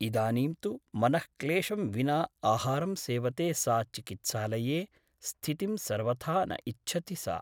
इदानीं तु मनःक्लेशं विना आहारं सेवते सा चिकित्सालये स्थितिं सर्वथा न इच्छति सा ।